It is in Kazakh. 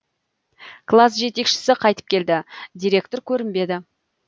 класс жетекшісі қайтып келді директор көрінбеді